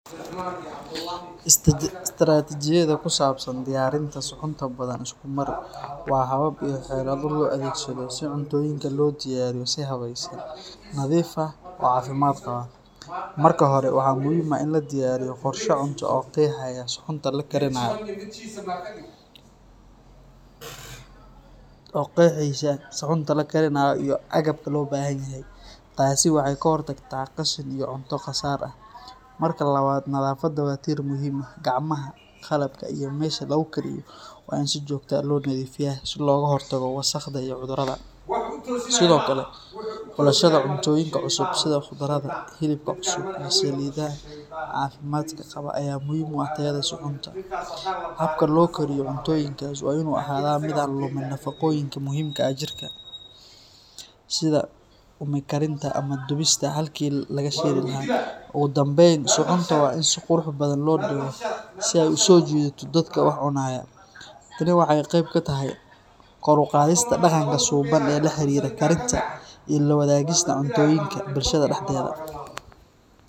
Istiraatiijiyadaha ku saabsan diyaarinta suxuunta Badhan Iskumar waa habab iyo xeelado loo adeegsado si cuntooyinka loo diyaariyo si habaysan, nadiif ah, oo caafimaad qaba. Marka hore, waxaa muhiim ah in la diyaariyo qorshe cunto oo qeexaya suxuunta la karinayo iyo agabka loo baahan yahay. Taasi waxay ka hortagtaa qashin iyo cunto khasaar ah. Marka labaad, nadaafadda waa tiir muhiim ah. Gacmaha, qalabka, iyo meesha lagu kariyo waa in si joogto ah loo nadiifiyaa si looga hortago wasakhda iyo cudurrada. Sidoo kale, xulashada cuntooyinka cusub sida khudradda, hilibka cusub, iyo saliidaha caafimaadka qaba ayaa muhiim u ah tayada suxuunta. Habka loo kariyo cuntooyinkaas waa in uu ahaadaa mid aan lumin nafaqooyinka muhiimka u ah jirka, sida uumi karinta ama dubista halkii laga shiili lahaa. Ugu dambayn, suxuunta waa in si qurux badan loo dhigo si ay u soo jiidato dadka wax cunaya. Tani waxay qayb ka tahay kor u qaadista dhaqanka suuban ee la xiriira karinta iyo la wadaagista cuntooyinka bulshada dhexdeeda.